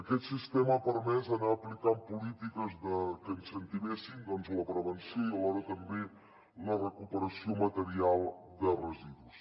aquest sistema ha permès anar aplicant polítiques que incentivessin la prevenció i alhora també la recuperació material de residus